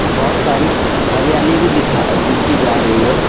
बहोत सारी हरियाली भी दिखा दिखी जा रही है।